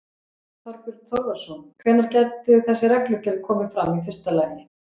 Þorbjörn Þórðarson: Hvenær gæti þessi reglugerð komið fram, í fyrsta lagi?